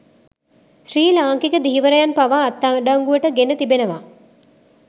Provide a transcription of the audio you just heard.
ශ්‍රී ලාංකික ධීවරයන් පවා අත්අඩංගුවට ගෙන තිබෙනවා